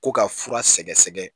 Ko ka fura sɛgɛsɛgɛ